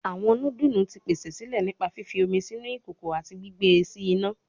Awọn nudulu ti pese sile nipa fifi omi sinu ikoko ati gbigbe si ina